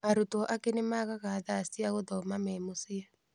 Arutwo angĩ nĩ maagaga thaa cia gũthoma memũciĩ.